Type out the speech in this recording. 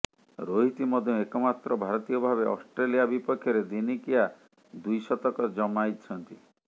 ରୋହିତ ମଧ୍ୟ ଏକମାତ୍ର ଭାରତୀୟ ଭାବେ ଅଷ୍ଟ୍ରେଲିଆ ବିପକ୍ଷରେ ଦିନିକିଆ ଦ୍ବିଶତକ ଜମାଇଛନ୍ତି